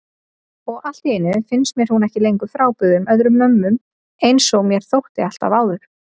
Og alltíeinu finnst mér hún ekki lengur frábrugðin öðrum mömmum einsog mér þótti alltaf áður.